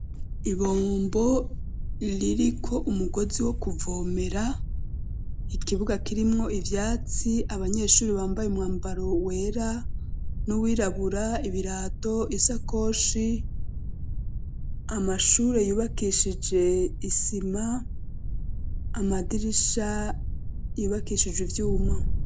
Ibombo ririko umugozi wo kuvomera ikibuga kirimwo ivyatsi abanyeshuri bambaye umwambaro wera n'uwirabura ibirato isakoshi amashure yubakishije isima amadirisha ibakishije ivyuma.